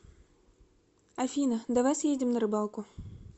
афина давай съездим на рыбалку